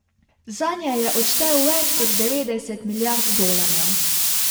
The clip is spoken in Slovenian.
Zanje je odštel več kot devet milijard dolarjev.